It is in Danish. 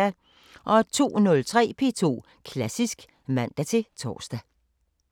02:03: P2 Klassisk (man-tor)